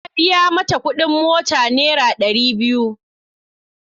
Na biya mata kudin mota naira dari biyu.